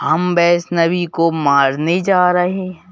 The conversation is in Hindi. हम वैष्णवी को मारने जा रहे है।